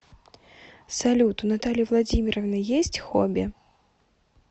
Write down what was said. салют у натальи владимировны есть хобби